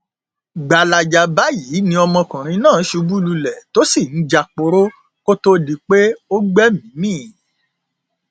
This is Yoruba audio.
gbalaja báyìí ni ọmọkùnrin náà ṣubú lulẹ tó sì ń jáporo kó tóó di pé ó gbẹmíín mi